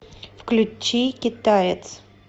включи китаец